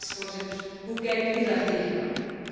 Mijn vraag is, Voorzitter, hoe kijkt u daar tegenaan?